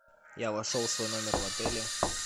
я вошел в свой номер в отеле